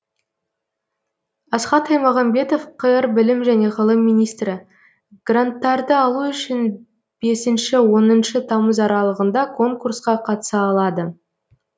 асхат аймағамбетов қр білім және ғылым министрі гранттарды алу үшін бесінші оныншы тамыз аралығында конкурсқа қатыса алады